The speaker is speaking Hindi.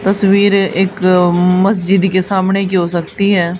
तस्वीरें एक मस्जिद के सामने की हो सकती हैं।